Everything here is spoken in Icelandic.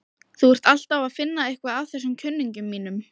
Þú ert alltaf að finna eitthvað að þessum kunningjum mínum.